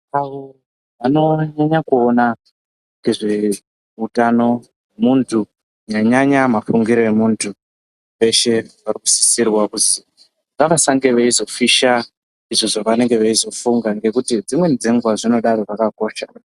...anonyanya kuona nezveutano muntu kunyanya-nyanya mafungiro emuntu veshe vanokusisirwa kuzi ngavasange veizofisha izvo zvavanenge veizofunga nekuti dzimweni dzenguva zvinodaro zvakakosha.